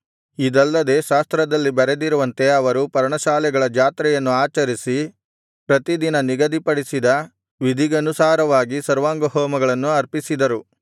ಇದಲ್ಲದೆ ಶಾಸ್ತ್ರದಲ್ಲಿ ಬರೆದಿರುವಂತೆ ಅವರು ಪರ್ಣಶಾಲೆಗಳ ಜಾತ್ರೆಯನ್ನು ಆಚರಿಸಿ ಪ್ರತಿದಿನ ನಿಗದಿಪಡಿಸಿದ ವಿಧಿಗನುಸಾರವಾದ ಸರ್ವಾಂಗಹೋಮಗಳನ್ನು ಅರ್ಪಿಸಿದರು